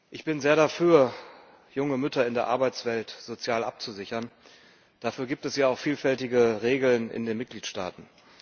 Ich bin sehr dafür, junge Mütter in der Arbeitswelt sozial abzusichern, dafür gibt es ja auch vielfältige Regeln in den Mitgliedstaaten.